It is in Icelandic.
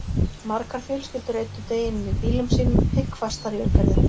Margar fjölskyldur eyddu deginum í bílum sínum, pikkfastar í umferðinni.